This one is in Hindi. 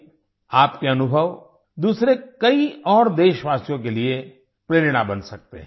आपके अनुभव दूसरे कई और देशवासियों के लिए प्रेरणा बन सकते हैं